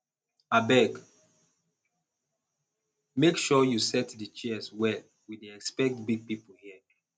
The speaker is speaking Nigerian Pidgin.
abeg make sure you set the chairs well we dey expect big people here